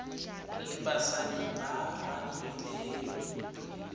le basadi ba ba imileng